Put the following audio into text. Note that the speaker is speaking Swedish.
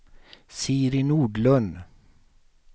Siri Nordlund